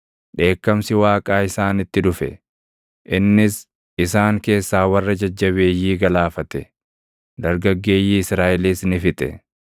dheekkamsi Waaqaa isaanitti dhufe; innis isaan keessaa warra jajjabeeyyii galaafate; dargaggeeyyii Israaʼelis ni fixe.